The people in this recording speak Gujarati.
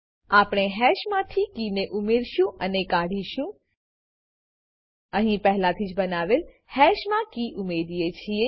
આપણે હેશમાંથી કીને ઉમેરીશું અને કાઢીશું અહી પહેલાથીજ બનાવેલ હેશમા કી ઉએરીએ છીએ